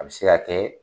A bɛ se ka kɛ